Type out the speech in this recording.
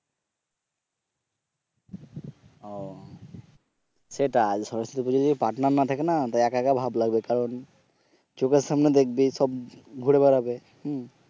ও সেটাই সরস্বতী পুজোয় যদি পার্টনার না থাকে না তো একা একা ভাব লাগবে কারণ চোখের সামনে দেখবি সব ঘুরে বেড়াবে হম